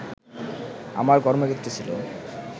আমার কর্মক্ষেত্র ছিল